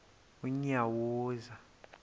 unyawuza